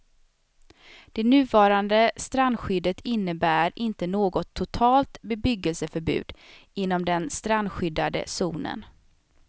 Det nuvarande strandskyddet innebär inte något totalt bebyggelseförbud inom den strandskyddade zonen.